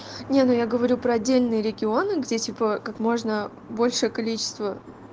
не ну я говорю про отдельные регионы где типа как можно большее количество